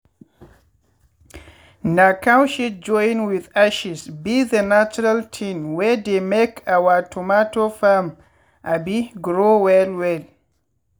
na cow shit join with ashes be the natural thing wey dey make our tomato farm um grow well well.